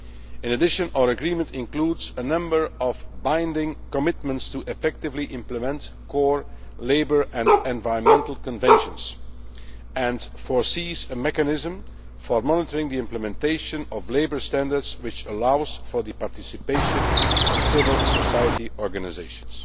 In addition our agreement includes a number of binding commitments to effectively implement core labour and environmental conventions and makes provision for a mechanism for monitoring the implementation of labour standards which allows for the participation of civil society organisations.